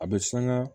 A bɛ sanga